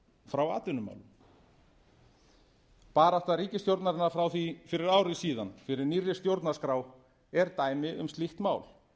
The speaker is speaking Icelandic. frá atvinnumálum barátta ríkisstjórnarinnar frá því fyrir ári síðan fyrir nýrri stjórnarskrá er dæmi um slíkt mál